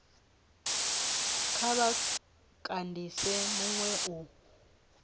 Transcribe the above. kha vha kandise minwe u